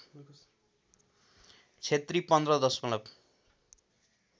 क्षेत्री १५ दशमलव